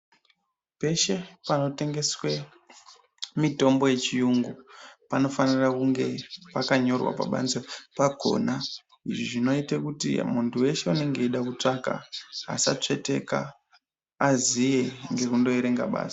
Pese panotengeswe mitombo yechiyungu panofanira kunge pakanyorwa pabanze pakona zvinoita kuti muntu weshe anenge achida kutsvaka asatsveteka aziye ngekundoerenga basi .